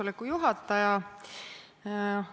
Hea juhataja!